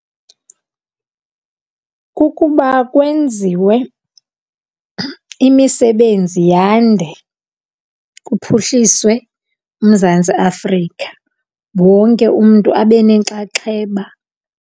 Kukuba kwenziwe imisebenzi yande kuphuhliswe uMzantsi Afrika wonke umntu abe nenxaxheba.